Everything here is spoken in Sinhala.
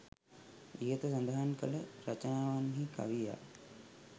ඉහත සඳහන් කළ රචනාවන්හි කවියා